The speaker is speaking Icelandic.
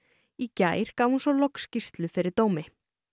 í gær gaf hún svo loks skýrslu fyrir dómi